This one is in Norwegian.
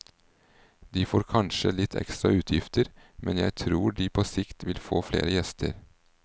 De får kanskje litt ekstra utgifter, men jeg tror de på sikt vil få flere gjester.